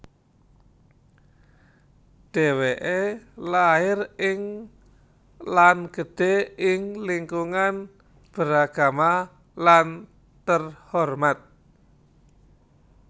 Dheweke lair ing lan gedhe ing lingkungan beragama lan terhormat